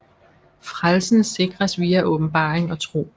Frelsen sikres via åbenbaring og tro